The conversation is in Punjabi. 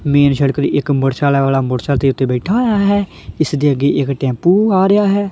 ਮੇਨ ਸੜਕਤੇ ਇੱਕ ਮੋਟਰਸਾਲਾ ਵਾਲਾ ਮੋਟਰਸਾਇਕਲ ਦੇ ਉੱਤੇ ਬੈਠਾ ਹੋਇਆ ਹੈ ਇਸਦੀ ਅੱਗੇ ਇੱਕ ਟੈਂਪੂ ਆ ਰਿਹਾ ਹੈ।